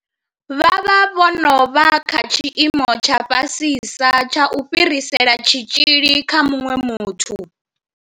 Vha vha vho no vha kha tshiimo tsha fhasisa tsha u fhirisela tshitzhili kha muṅwe muthu.